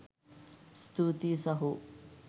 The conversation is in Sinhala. ස්තූතියි සහෝ